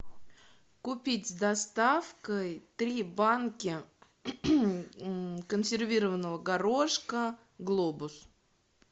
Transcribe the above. купить с доставкой три банки консервированного горошка глобус